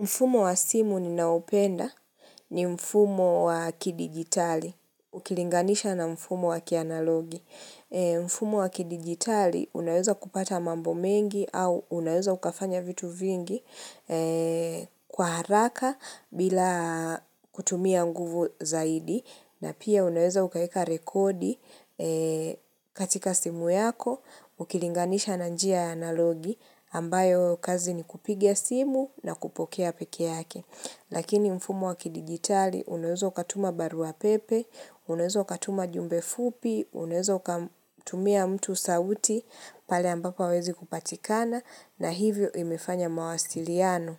Mfumo wa simu ninaoupenda ni mfumo wa kidigitali, ukilinganisha na mfumo wa kianalogi. Mfumo wa kidigitali unaeza kupata mambo mengi au unaeza ukafanya vitu vingi kwa haraka bila kutumia nguvu zaidi. Na pia uneweza ukaeka rekodi katika simu yako, ukilinganisha na njia analogi ambayo kazi ni kupiga simu na kupokea pekee yake. Lakini mfumo wakidigitali uneweza ukatuma barua pepe, uneweza ukatuma jumbe fupi, uneweza ukamtumia mtu sauti pale ambapo hawezi kupatikana na hivyo imefanya mawasiliano